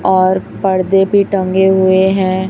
और पर्दे भी टंगे हुए हैं।